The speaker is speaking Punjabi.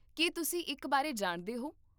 ਕੀ ਤੁਸੀਂ ਇੱਕ ਬਾਰੇ ਜਾਣਦੇ ਹੋ?